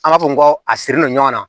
An b'a fɔ ko a sirilen ɲɔgɔn na